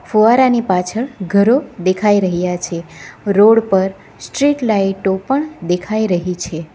ફુવારા ની પાછળ ઘરો દેખાઈ રહ્યા છે રોડ પર સ્ટ્રીટ લાઈટો પણ દેખાઈ રહી છે.